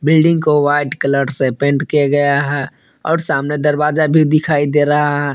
Building को white colour से paint किया गया है और सामने दरवाजा भी दिखाई दे रहा है।